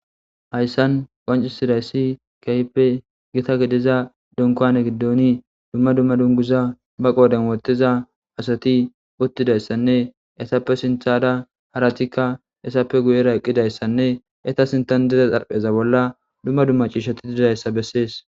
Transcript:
Hayssan qonci sidayssi kaype gita gediza dunkane giddoni dumma dumma dunguza ba qooden wottiza asati uttidayssanne esappe sinthada haratikka esappe guyera eqqidayssanne eta sintan dida xarpheza bolla dumma dumma ciishati didzayssa bessees.